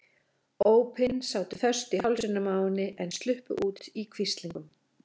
Ópin sátu föst í hálsinum á henni en sluppu út í hvíslingum.